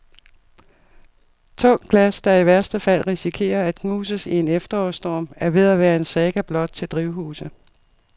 Tungt glas, der i værste fald risikerer at knuses i en efterårsstorm, er ved at være en saga blot til drivhuse.